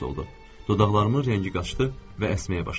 Dodaqlarımın rəngi qaçdı və əsməyə başladım.